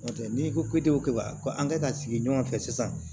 N'o tɛ n'i ko k'e ko k'e ka ko an ka sigi ɲɔgɔn fɛ sisan